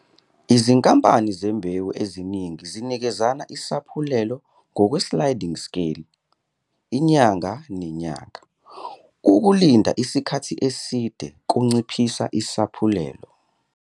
Izinkampane zembewu eziningi zinikezana isaphulelo ngokwe-sliding scale, inyanga nenyanga - ukulinda isikhathi eside kunciphisa isaphulelo.